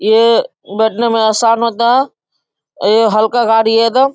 ये बैठने में आसान होता है ये हल्का गाड़ी है एकदम।